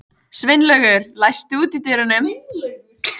Sveinlaugur, læstu útidyrunum.